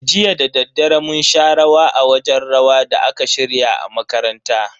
Jiya dadaddare mun sha rawa a wajen rawa da aka shirya a makaranta.